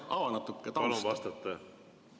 Ava natuke tausta.